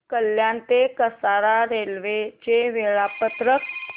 कल्याण ते कसारा रेल्वे चे वेळापत्रक